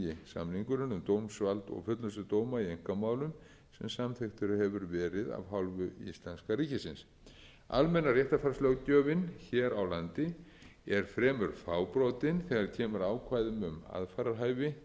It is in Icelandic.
um dómsvald og fullnustu dóma í einkamálum sem samþykktur hefur verið af hálfu íslenska ríkisins almenna réttarfarslöggjöfin hér á landi er fremur fábrotin þegar kemur að ákvæðum